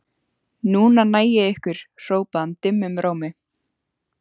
Núna næ ég ykkur hrópaði hann dimmum rómi.